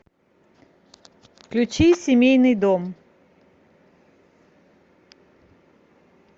включи семейный дом